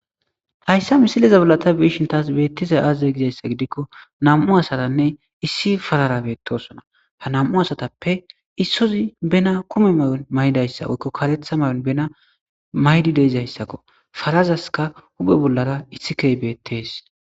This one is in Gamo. Hayssa misileza balata biishin taas beettizay aazaze gizayssa gidikko nam'u asatanne issi farara beettosona ha nam'u asatappe issozi bena kume may'on may'dayssa oykko kaletha may'on bena maydi deizayssakko farazaska hupe bollara issikey beettees.